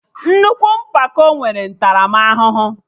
Nnukwu mpako nwere ntaramahụhụ